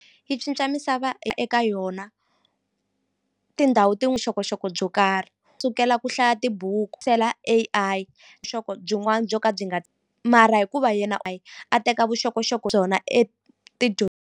Yi cinca misava eka yona tindhawu vuxokoxoko byo karhi sukela ku hlaya tibuku A_I byin'wani byo ka byi nga mara hikuva hi yena a teka vuxokoxoko byona .